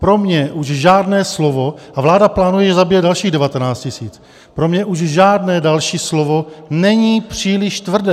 Pro mě už žádné slovo - a vláda plánuje zabíjet dalších 19 000 - pro mě už žádné další slovo není příliš tvrdé.